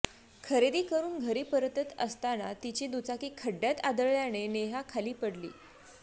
खरेदी करून घरी परतत असताना तिची दुचाकी खड्ड्यात आदळल्यानं नेहा खाली पडली